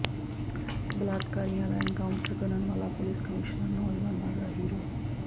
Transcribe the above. ਬਲਾਤਕਾਰੀਆਂ ਦਾ ਐਨਕਾਊਂਟਰ ਕਰਨ ਵਾਲਾ ਪੁਲਿਸ ਕਮਿਸ਼ਨਰ ਨੌਜਵਾਨਾਂ ਦਾ ਹੀਰੋ